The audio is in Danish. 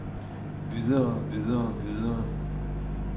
videre videre videre